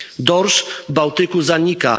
Dorsz w Bałtyku zanika.